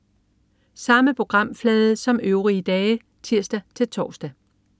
Samme programflade som øvrige dage (tirs-tors)